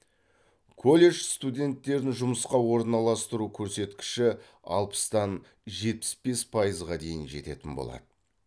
колледж студенттерін жұмысқа орналастыру көрсеткіші алпыстан жетпіс бес пайызға дейін жететін болады